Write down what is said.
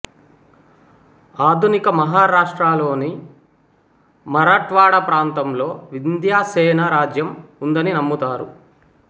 ఆధునిక మహారాష్ట్రలోని మరాఠ్వాడ ప్రాంతంలో వింధ్యసేన రాజ్యం ఉందని నమ్ముతారు